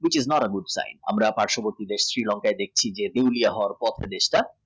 প্রতিবারের রূপ তাই। আমরা দেখছি পার্ষবর্তী দেশ Sri Lanka দেখছি দেউলিয়া হওয়ার পথে দেশটা।